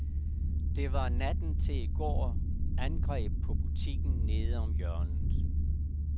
Der var natten til i går angreb på butikken nede om hjørnet.